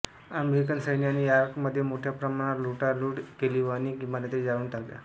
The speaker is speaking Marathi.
अमेरिकन सैन्याने यॉर्कमध्ये मोठ्या प्रमाणावर लुटालूट केली व अनेक इमारती जाळून टाकल्या